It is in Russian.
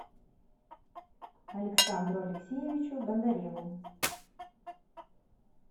александру алексеевичу бондареву